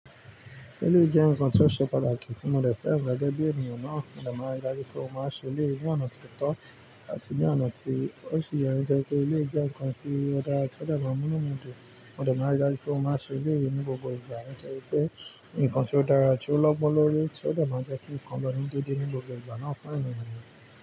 Eleyi jẹ́ nǹkan tó ṣe pàtàkì tí mo de fẹ́ran gege bí ènìyàn náà, mo dẹ̀ mọ̀ ní láyé pé ó máa ń ṣe eleyii ní ọ̀nà tó tọ́ àti ní ọ̀nà tí ó sì yẹ, eleyii jẹ́ nǹkan tí ó dára tí ó dẹ̀ máa mú ọ̀nà tó, mo dẹ̀ mọ̀ ní láyé pé ó máa ń ṣe ilé yìí ní gbogbo ìgbà láìpẹ́ pé nǹkan tí ó dára tí ó lọ́gbọ́n lórí tí ó dẹ̀ máa jẹ́ kí nǹkan lọ ní deede ní gbogbo ìgbà náà fún ènìyàn.